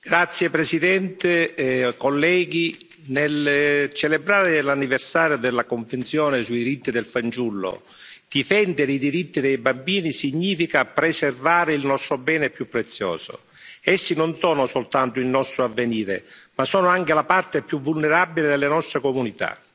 Signor Presidente, onorevoli colleghi, nel celebrare l'anniversario della Convenzione sui diritti del fanciullo, difendere i diritti dei bambini significa preservare il nostro bene più prezioso. Essi non sono soltanto il nostro avvenire, ma sono anche la parte più vulnerabile delle nostre comunità.